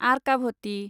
आर्काभ'टि